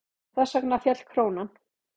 Þess vegna féll krónan.